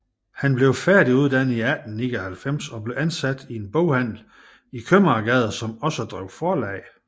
Han blev færdiguddannet i 1899 og blev ansat i en boghandel i Købmagergade som også drev forlag